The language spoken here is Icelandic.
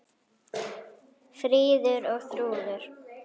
Fríður og Þrúður.